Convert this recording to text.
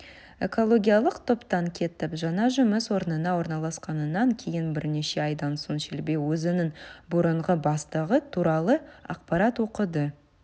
экологиялық топтан кетіп жаңа жұмыс орнына орналасқаннан кейін бірнеше айдан соң шелби өзінің бұрынғы бастығы туралы ақпарат оқыды